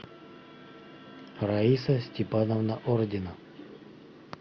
раиса степановна ордина